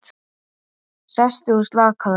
Sestu og slakaðu á.